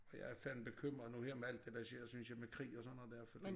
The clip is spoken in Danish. Jeg er fandme bekymret nu her med alt det der sker synes jeg med krig og sådan noget dér fordi